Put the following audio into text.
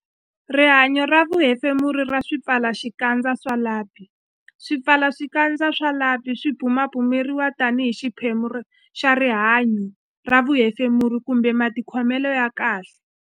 Rihanyo ra vuhefemuri ra swipfalaxikandza swa lapi Swipfalaxikandza swa lapi swi bumabumeriwa tanihi xiphemu xa rihanyo ra vuhefemuri kumbe matikhomelo ya kahle.